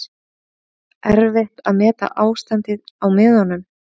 Erfitt að meta ástandið á miðunum